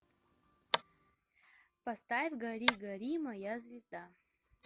поставь гори гори моя звезда